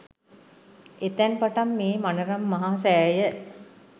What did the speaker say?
එතැන් පටන් මේ මනරම් මහ සෑය